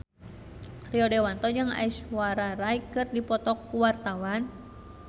Rio Dewanto jeung Aishwarya Rai keur dipoto ku wartawan